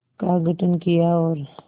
का गठन किया और